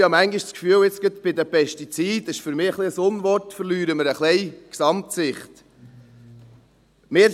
Aber ich habe manchmal das Gefühl, gerade bei den Pestiziden – das ist für mich ein bisschen ein Unwort – verlieren wir die Gesamtsicht ein bisschen.